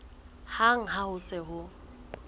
hang ha ho se ho